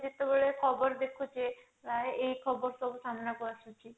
ଯେତେବେଳେ ଖବର ଦେଖୁଛେ ପ୍ରାୟ ଏଇ ଖବର ସବୁ ସାମ୍ନା କୁ ଆସୁଛି